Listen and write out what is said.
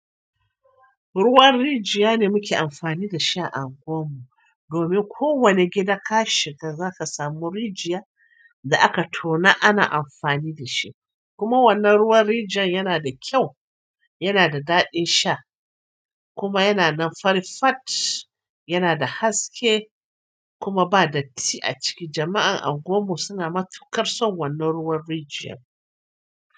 Ruwan rijiya ne muke amfani da shi a anguwam mu. Domin ko wane gida kashi ga zaka samu rijiya da aka tona ana amfani da shi. Kuma wannan ruwan rijiyan yana da kyau, yana da daɗin sha, kuma yana nan farifatt, yana da haske kuma ba da tti a ciki. Jama'an anguwammu suna matuƙar son wannan ruwan rijiya.